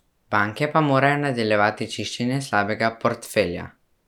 Banke pa morajo nadaljevati čiščenje slabega portfelja.